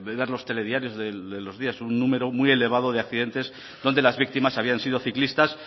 ver los telediarios de los días un número muy elevado de accidentes donde las víctimas habían sido ciclistas